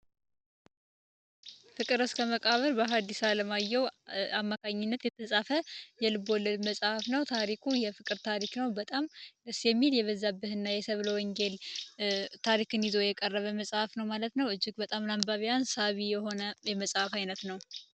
ፍቅር እስከ መቃበር በሃዲስ ዓለማየው አማካኝነት የተጻፈ የልብለድ መጽሐፍ ነው። ታሪኩ የፍቅር ታሪክ ነው በጣም ደስ የሚል የበዛበት እና የሰብለ ወንጌል ታሪክን ይዞ የቀረበ መጽሐፍ ነው ማለት ነው እጅግ በጣም ላንባቢያን ሳቢ የሆነ የመጽሐፍ ዓይነት ነው።